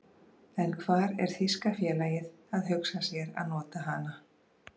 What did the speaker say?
En hvar er þýska félagið að hugsa sér að nota hana?